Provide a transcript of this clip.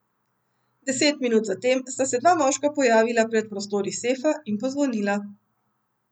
Deset minut zatem sta se dva moška pojavila pred prostori sefa in pozvonila.